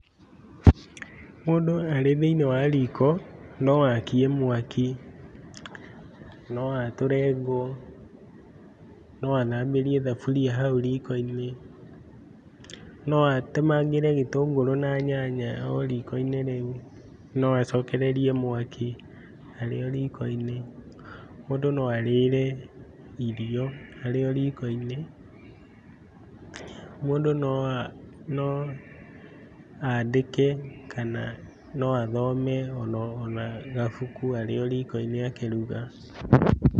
Mũndũ arĩ thĩinĩ wa riko, noakie mwaki, noatũre ngũ, noathambĩrie thaburia hau riiko-ini, noatemangĩre gĩtũngũrũ na nyanya o riiko-inĩ rĩu, noacokererie mwaki arĩo riiko-inĩ, mũndũ noarĩre irio arĩo riiko-inĩ, mũndũ noa no andĩke kana noathome ono ona gabuku arĩo riiko-inĩ akĩruga.